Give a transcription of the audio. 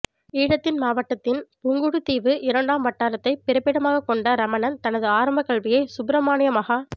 ஈழத்தின் மாவட்டத்தின் புங்குடுதீவு இரண்டாம் வட்டாரத்தை பிறப்பிடமாக கொண்ட ரமணன் தனது ஆரம்பக் கல்வியை சுப்பிரமானிய மகா